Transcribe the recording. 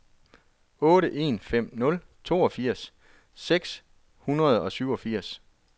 otte en fem nul toogfirs seks hundrede og syvogfirs